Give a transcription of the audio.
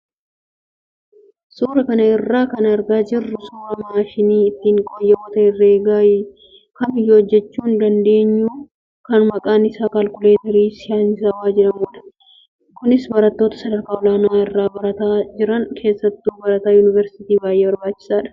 Suuraa kana irraa kan argaa jirru suuraa maashinii ittiin qooyyaboota herreegaa kamiyyuu hojjachuu dandeenyu kan maqaan isaa kaalkuleetarii saayinsawaa jedhamudha. Kunis barattoota sadarkaa olaanaa irra barnootaa jiran keessattuu barataa yuunivarsiitiif baay'ee barbaachisaadha.